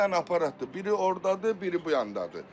İki dənə aparatdır, biri ordadır, biri bu yandadır.